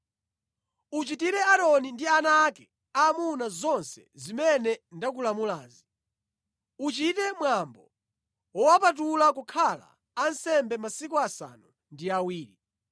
“Uchitire Aaroni ndi ana ake aamuna zonse zimene ndakulamulazi. Uchite mwambo wowapatula kukhala ansembe masiku asanu ndi awiri.